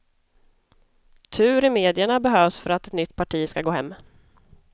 Tur i medierna behövs för att ett nytt parti ska gå hem.